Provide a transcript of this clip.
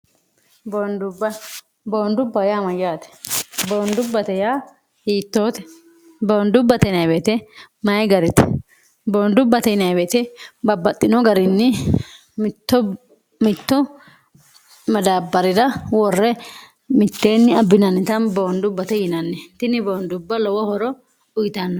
boondubba yaa mayyaate bondubbate hiittoote boondubbate yinanni woyiite mayi garite boondubbate neeweete babbaxxino garinni imitto madaabbarira worre mitteenni abbinannita boondubbate yinanni tini boondubba lowo horo uyitanno